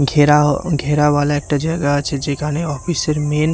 ঘেরাও ঘেরাওয়ালা একটা জায়গা আছে যেখানে অফিস -এর মেন --